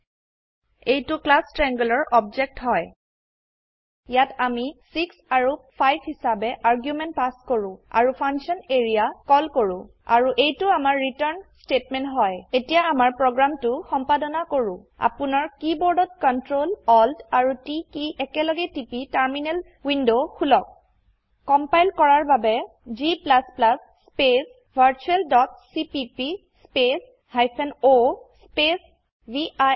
এইটো ক্লাছ Triangleৰ অবজেক্ট হয় ইয়াত আমি 6 আৰু 5 হিসাবে আৰ্গুমেন্ট পাছ কৰো আৰু ফাংচন এৰিয়া কল কৰো আৰু এইটো আমাৰ ৰিটাৰ্ণ স্তেটমেন্ট হয় এতিয়া আমাৰ প্ৰোগ্ৰামটো সম্পাদনা কৰো আপোনাৰ কীবোৰ্ডত Ctrl Alt আৰু T কি একেলগে টিপি টাৰ্মিনেল উইন্ডো খুলক কম্পাইল কৰাৰ বাবে g স্পেচ virtualচিপিপি স্পেচ o স্পেচ ভিৰ